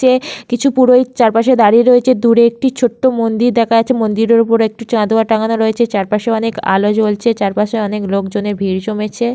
তে কিছু পুরোহিত চারপাশে দাঁড়িয়ে রয়েছে দূরে একটি ছোট্ট মন্দির দেখা যাচ্ছে মন্দিরের ওপর একটু চাঁদোয়া টাঙানো রয়েছে চারপাশে অনেক আলো জ্বলছে চারপাশে অনেক লোকজনের ভিড় জমেছে।